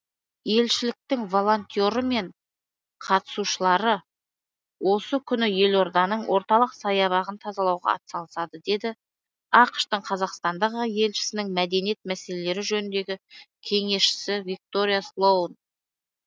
елшіліктің волонтері мен қатысушылары осы күні елорданың орталық саябағын тазалауға атсалысады деді ақш тың қазақстандағы елшісінің мәдениет мәселелері жөніндегі кеңесшісі виктория слоун